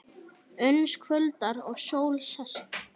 Uns kvöldar og sól sest.